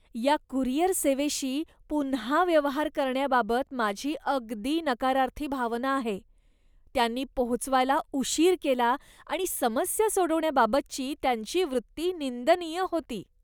या कुरिअर सेवेशी पुन्हा व्यवहार करण्याबाबत माझी अगदी नकारार्थी भावना आहे. त्यांनी पोहोचवायला उशीर केला आणि समस्या सोडवण्याबाबतची त्यांची वृत्ती निंदनीय होती.